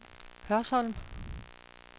Hørsholm